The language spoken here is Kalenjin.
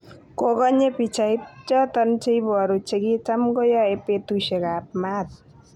Kongonye pichait choton cheboru chekitam koyoe betushek ab maat.